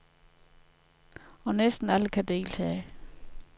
Og næsten alle kan deltage.